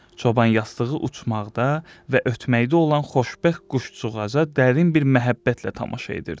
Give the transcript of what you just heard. Çoban yastığı uçmaqda və ötməkdə olan xoşbəxt quşcuğaza dərin bir məhəbbətlə tamaşa edirdi.